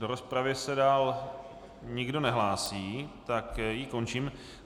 Do rozpravy se dále nikdo nehlásí, tak ji končím.